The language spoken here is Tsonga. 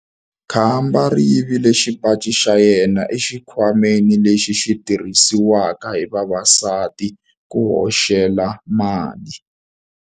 Khamba ri yivile xipaci xa yena exikhwameni lexi xi tirhisiwaka hi vavasati ku hoxela mali.